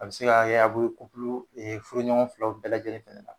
A bɛ se ka furuɲɔgɔn filaw bɛɛ lajɛlen fana na